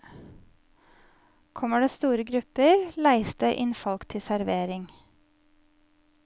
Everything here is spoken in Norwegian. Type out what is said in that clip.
Kommer det store grupper, leies det inn folk til servering.